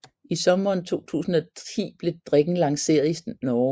I sommeren 2010 blev drikken lanceret i Norge